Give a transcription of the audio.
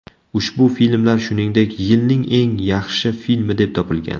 Ushbu filmlar shuningdek, yilning eng yaxshi filmi deb topilgan.